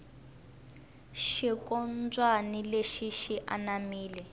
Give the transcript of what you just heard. xinkombyani lexi xi anamile